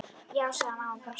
Já, sagði mamma og brosti.